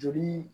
Joli